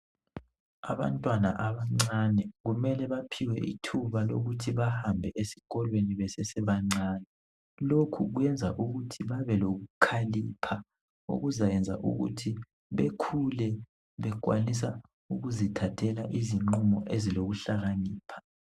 abantwana abancane kumele baphiwe ithuba lokuthi bahambe esikolweni besesebancane lokhu kuyenza ukuthi babelokukhalipha okuzayenza ukuthi bekhule bekwanisa ukuzithathela izinqumo ezilokuhlakanipha